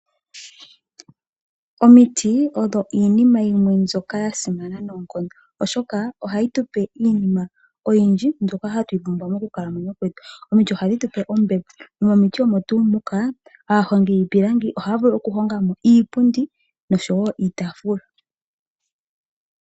Omiti odho iinima yimwe mbyoka ya simana noonkondo, oshoka ohayi tu pe iinima oyindji mbyoka hatu yi pumbwa mokukalamwenyo kwetu. Omiti ohadhi tu pe ombepo. Nomomiti omo tuu muka, aahongi yiipilangi ohaa vulu okuhonga po iipundi, nosho wo iitaafula.